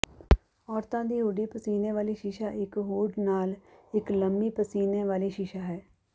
ਔਰਤਾਂ ਦੀ ਹੂਡੀ ਪਸੀਨੇ ਵਾਲੀ ਸ਼ੀਸ਼ਾ ਇੱਕ ਹੂਡ ਨਾਲ ਇੱਕ ਲੰਮੀ ਪਸੀਨੇ ਵਾਲੀ ਸ਼ੀਸ਼ਾ ਹੈ